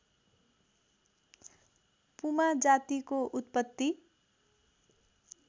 पुमा जातिको उत्पत्ति